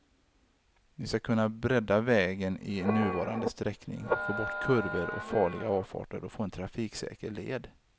Vi skall kunna bredda vägen i nuvarande sträckning, få bort kurvor och farliga avfarter och få en trafiksäker led.